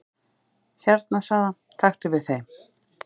"""Hérna sagði hann, taktu við þeim"""